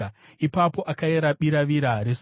Ipapo akayera biravira resuo;